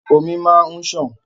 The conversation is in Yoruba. Omi máa n ṣàn.